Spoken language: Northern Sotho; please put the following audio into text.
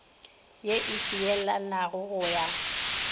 ye e šielanago ya go